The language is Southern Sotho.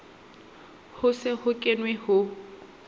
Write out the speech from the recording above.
ho se ho kenwe ho